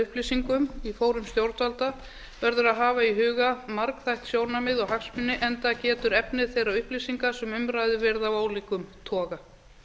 upplýsingum í fórum stjórnvalda verður að hafa í huga margþætt sjónarmið og hagsmuni enda getur efni þeirra upplýsinga sem um ræðir verið að ólíkum toga